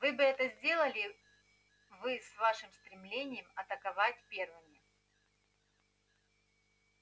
вы бы это сделали вы с вашим стремлением атаковать первыми